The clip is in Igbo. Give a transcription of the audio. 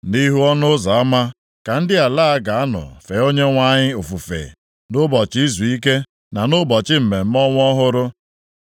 Nʼihu ọnụ ụzọ ama ka ndị ala a ga-anọ fee Onyenwe anyị ofufe nʼụbọchị izuike na nʼụbọchị mmemme ọnwa ọhụrụ.